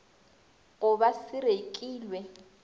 go ba se rekilw e